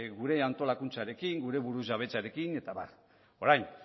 gure antolakuntzarekin gure burujabetzarekin eta abar orain